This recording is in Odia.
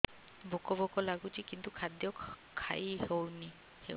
ଭୋକ ଭୋକ ଲାଗୁଛି କିନ୍ତୁ ଖାଦ୍ୟ ଖାଇ ହେଉନି